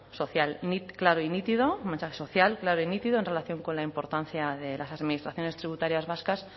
social claro y nítido un mensaje social claro y nítido en relación con la importancia de las administraciones tributarias vascas